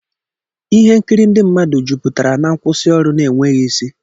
Ihe nkiri ndị mmadụ juputara na nkwusioru na-enweghị isi.